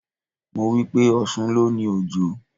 Mo wípé: Ọ̀ṣun ló ni Òjò.